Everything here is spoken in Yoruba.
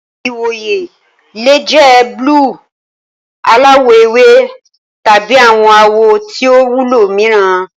Ìwòyè le jẹ buluu, aláwò ewé, tabi awọn awọ tí o wúlò mìíràn.